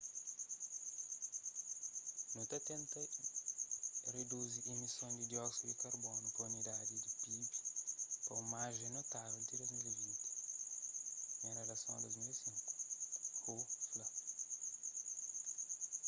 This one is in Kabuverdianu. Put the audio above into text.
nu ta tenta riduzi imison di dióksidu di karbonu pa unidadi di pib pa un marjen notável ti 2020 en relason a nível di 2005 hu fla